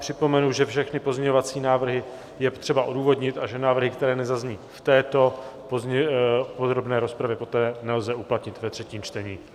Připomenu, že všechny pozměňovací návrhy je třeba odůvodnit a že návrhy, které nezazní v této podrobné rozpravě, poté nelze uplatnit ve třetím čtení.